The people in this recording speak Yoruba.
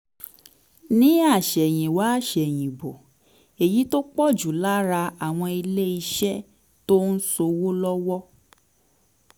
ní àsẹ̀yìnwá àsẹ̀yìnbọ̀ èyí tó pọ̀ jù lọ lára àwọn ilé iṣẹ́ tó ń ṣòwò lọ́wọ́